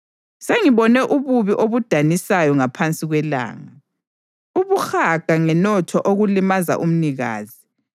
Sengibone ububi obudanisayo ngaphansi kwelanga: ubuhaga ngenotho okulimaza umnikazi,